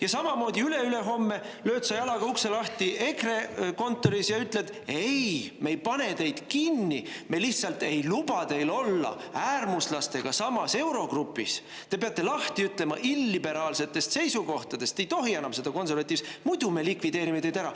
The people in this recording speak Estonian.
Ja samamoodi üleülehomme lööd sa jalaga ukse lahti EKRE kontoris ja ütled: "Ei, me ei pane teid kinni, me lihtsalt ei luba teil olla äärmuslastega samas eurogrupis, te peate lahti ütlema illiberaalsetest seisukohtadest, te ei tohi enam seda konservatiivset, muidu me likvideerime teid ära.